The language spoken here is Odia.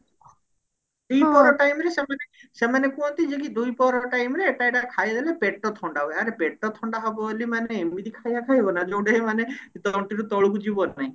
ଦିପହର time ରେ ସେମାନେ ସେମାନେ କୁହନ୍ତି ଯେ କି ଦିପହର time ରେ ଖାଇଦେଲେ ପେଟ ଥଣ୍ଡା ହୁଏ ଆରେ ପେଟ ଥଣ୍ଡା ହବ ବୋଲି ମାନେ ଏମିତି ଖାଇବା ଖାଇବ ନା ଯୋଉଟା କି ମାନେ ତଣ୍ଟିରୁ ତଳକୁ ଯିବ ନାଇଁ